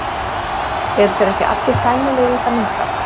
Eru þeir ekki allir sæmilegir í það minnsta.